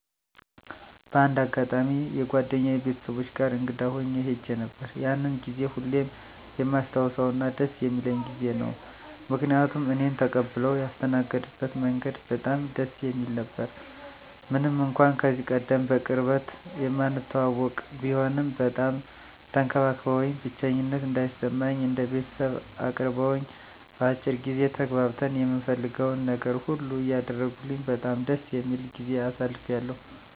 በአንድ አጋጣሚ የጓደኛየ ቤተሰቦች ጋር እንግዳ ሁኜ ሄጄ ነበር። ያንን ጊዜ ሁሌም የማስታውሰውና ደስ የሚለኝ ጊዜ ነው። ምክንያቱም እኔን ተቀብለው ያስተናገድበት መንገድ በጣም ደስ የሚል ነበረ። ምንም እንኳን ከዚህቀደም በቅርበት የማንተዋወቅ ቢሆንም በጣም ተንከባክበውኝ፣ ብቸኝነት እንዳይሰማኝ እንደ ቤተሰብ አቅርበውኝ፣ በአጭር ጊዜ ተግባብተን የምፈልገውን ነገር ሁሉ እያደረጉልኝ በጣም ደስ የሚል ጊዜ አሳልፌያለሁ።